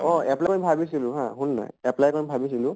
অ apply কৰিম ভাবিছিলো হা শুন না apply কৰিম ভাবিছিলো